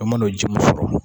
e man'o ji min sɔrɔ